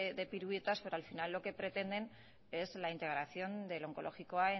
de piruetas pero al final lo que pretenden es la integración del onkologikoa